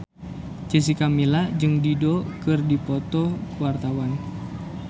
Jessica Milla jeung Dido keur dipoto ku wartawan